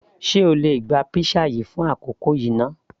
sé o lè gba pizza yìí fún àkókò yìí náà